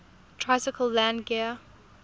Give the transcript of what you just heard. tricycle landing gear